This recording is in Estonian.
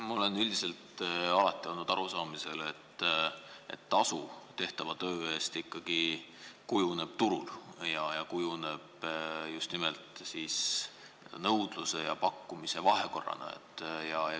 Ma olen üldiselt alati olnud arusaamisel, et tasu tehtava töö eest kujuneb ikkagi turul ning kujuneb just nimelt nõudluse ja pakkumise vahekorrana.